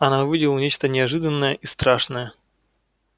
она увидела нечто неожиданное и страшное